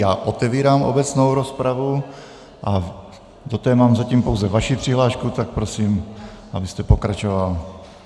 Já otevírám obecnou rozpravu a do té mám zatím pouze vaši přihlášku, tak prosím, abyste pokračoval.